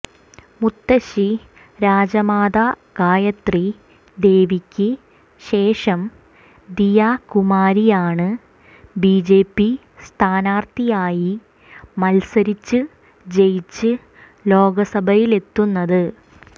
മുത്തശ്ശി രാജമാത ഗായത്രി ദേവിക്ക് ശേഷം ദിയ കുമാരിയാണ് ബിജെപി സ്ഥാനാര്ത്ഥിയായി മത്സരിച്ച് ജയിച്ച് ലോക്സഭയിലെത്തുന്നത്